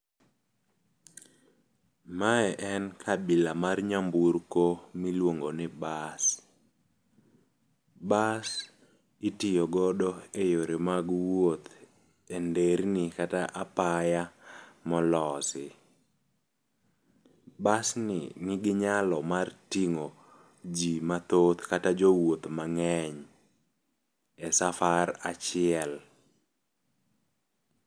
Mae en kabila mar nyamburko miluongo ni bas. Bas itiyo godo e yore mag wuoth enderni kata apaya molosi. Bas ni nigi nyalo mar ting'o jii mathoth kata jowuoth mang'eny e safar achiel.